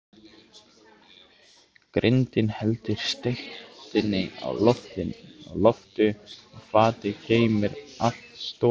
Grindin heldur steikinni á lofti og fatið geymir allt soðið.